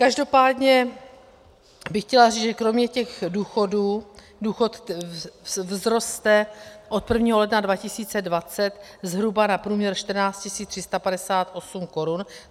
Každopádně bych chtěla říct, že kromě těch důchodů - důchod vzroste od 1. ledna 2020 zhruba na průměr 14 358 korun.